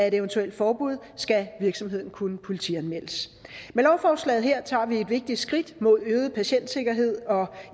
et eventuelt forbud skal virksomheden kunne politianmeldes med lovforslaget her tager vi et vigtigt skridt mod en øget patientsikkerhed